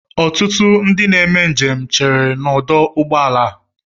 Ọtụtụ ndị na-eme njem cheere n'ọdụ ụgbọala a.